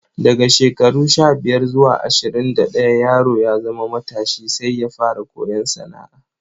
Daga shekaru sha-biyar zuwa ashirin da ɗaya yaro ya zama matashi sai ya fara koyon sana'a.